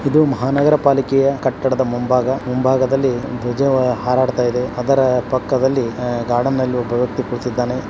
ಇದು ಮಹಾ ನಗರ ಪಾಲಿಕೆಯ ಕಟಡ್ ಮುಂಭಾಗ ಮುಂಭಾಗದಲ್ಲಿ ಧ್ವಜ ಹಾರಾಡ್ತಾ ಇದೆ ಅದರ ಪಕ್ಕದಲಿ ಗಾರ್ಡ್ನಲ್ಲಿ ಒಬ ವ್ಯಕ್ತಿ ಕುಳ್ತಿದಾನೆ.